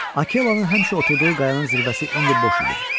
Akellanın həmişə oturduğu qayanın zirvəsi indi boş idi.